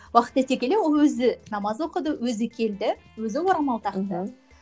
уақыт өте келе ол өзі намаз оқыды өзі келді өзі орамал тақты мхм